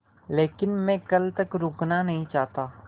लेकिन मैं कल तक रुकना नहीं चाहता